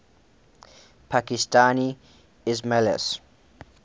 pakistani ismailis